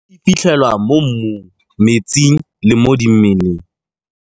E fitlhelwa mo mmung, metsing le mo dimeleng.